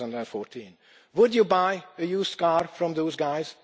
2014. Would you buy a used car from those guys?